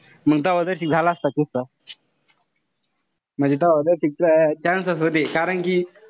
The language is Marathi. मंग तव्हा तशी झाला असता किस्सा, म्हणजे तव्हा कारण कि,